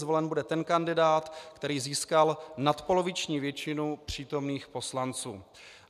Zvolen bude ten kandidát, který získal nadpoloviční většinu přítomných poslanců.